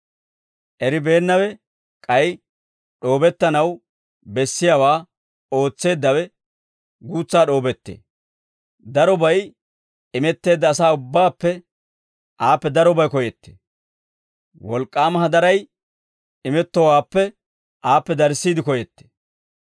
Eribeennawe k'ay d'oobettanaw bessiyaawaa ootseeddawe, guutsaa d'oobettee. Darobay imetteedda asaa ubbaappe, aappe darobay koyettee; wolk'k'aama hadaray imettowaappe, aappe darissiide koyettee.